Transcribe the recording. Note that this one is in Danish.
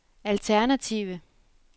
alternative